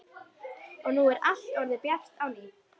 Og nú er allt orðið bjart á ný.